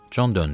Con döndü.